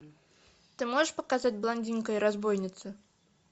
ты можешь показать блондинка и разбойницы